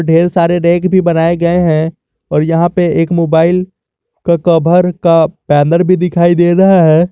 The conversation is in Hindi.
ढेर सारे रैक भी बनाए गए हैं और यहां पे एक मोबाइल के कवर का बैनर भी दिखाई दे रहा है।